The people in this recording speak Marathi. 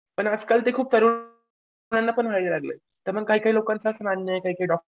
पण आजकाल ते खूप तरुण मुलांना पण व्हायला लागलेत त्यामुळे काही काही लोकांचं असं मानणं आहे काही काही डॉक्टरांचं